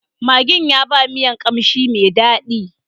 Maggin ya ba miyan kamshi mai dadi.